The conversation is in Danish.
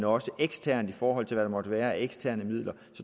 også eksternt i forhold til hvad der måtte være af eksterne midler